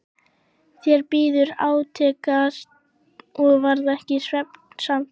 Þeir biðu átekta og varð ekki svefnsamt.